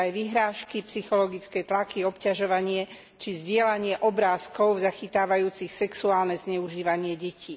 Sú to aj vyhrážky, psychologické tlaky, obťažovanie či šírenie obrázkov zachytávajúcich sexuálne zneužívanie detí.